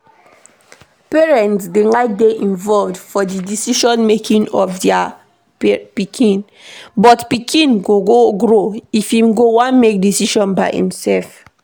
Parents dey like dey involved for di decision making of their pikin, but pikin go grow, im go wan make decision by im self